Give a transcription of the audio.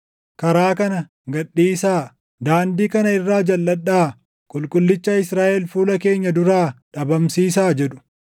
Karaa kana gad dhiisaa; daandii kana irraa jalʼadhaa; Qulqullicha Israaʼel fuula keenya duraa dhabamsiisaa!” jedhu.